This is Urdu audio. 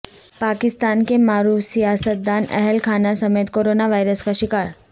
پاکستان کے معروف سیاستدان اہل خانہ سمیت کرونا وائرس کا شکا ر